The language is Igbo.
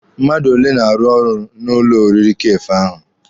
Mmadụ ole na-arụ n'ụlọ oriri Kafee ahụ?